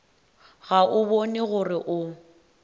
ga o bone gore o